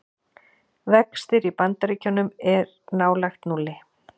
Vextir í Bandaríkjum er nálægt núlli